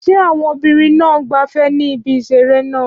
Ṣé àwọn obìnrin náà ń gbafẹ́ ní ibi ìseré náà?